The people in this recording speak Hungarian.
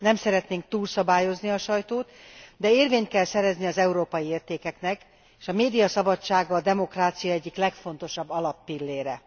Nem szeretnénk túlszabályozni a sajtót, de érvényt kell szerezni az európai értékeknek, s a médiaszabadság a demokrácia egyik legfontosabb alappillére.